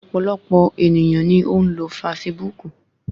Ọ̀pọ̀lọpọ̀ ènìyàn ni ó ń lo fasibúùkù